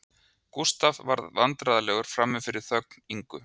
Gústaf varð vandræðalegur frammi fyrir þögn Ingu